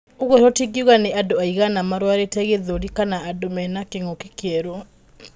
Ũguo tũtingiuga nĩ andũ aigana marwarĩte gĩthũri kana andũ mena kĩngũki kierũ